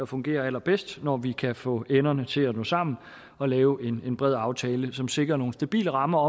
fungerer allerbedst når vi kan få enderne til at nå sammen og lave en bred aftale som sikrer nogle stabile rammer